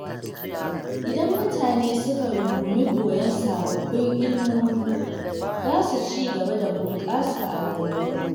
Idan mutane suka rungumi koyon sababbin ilimomi, za su ci gaba da bunƙasa a rayuwa.